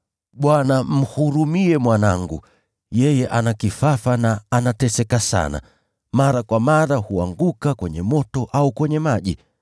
“Bwana, mhurumie mwanangu. Yeye ana kifafa na anateseka sana. Mara kwa mara huanguka kwenye moto au kwenye maji.